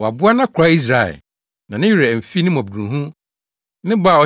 Waboa nʼakoa Israel na ne werɛ amfi ne mmɔborɔhunu ne ne bɔ